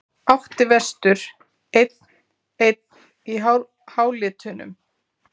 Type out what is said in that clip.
Átti vestur einn-einn í hálitunum?